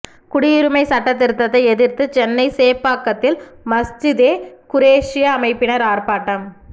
குடியுரிமை சட்டத் திருத்தத்தை எதிர்த்து சென்னை சேப்பாக்கத்தில் மஸ்ஜிதே குரேஷிய அமைப்பினர் ஆர்ப்பாட்டம்